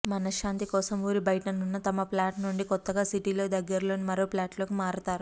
మనశ్శాంతి కోసం ఊరి బయటనున్న తమ ఫ్లాట్ నుండి కొత్తగా సిటీకి దగ్గరలోని మరో ఫ్లాట్లోకి మారతారు